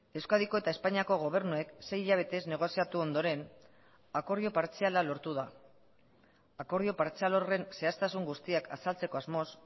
euskadiko eta espainiako gobernuek sei hilabetez negoziatu ondoren akordio partziala lortu da akordio partzial horren zehaztasun guztiak azaltzeko asmoz